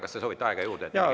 Kas te soovite aega juurde?